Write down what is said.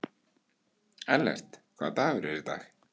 Ellert, hvaða dagur er í dag?